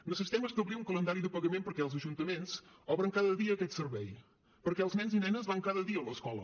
necessitem establir un calendari de pagament perquè els ajuntaments obren cada dia aquest servei perquè els nens i nenes van cada dia a l’escola